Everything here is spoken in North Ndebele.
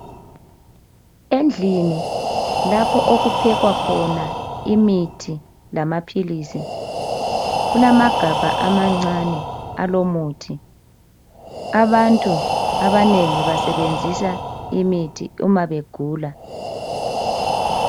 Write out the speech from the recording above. Endlini lapha okuphekwa khona imithi lamaphilizi kulamagabha amancane awamaphilizi abantu abanengi bayasebenzisa imithi nxa begula